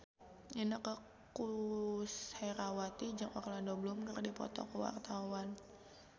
Inneke Koesherawati jeung Orlando Bloom keur dipoto ku wartawan